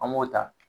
An b'o ta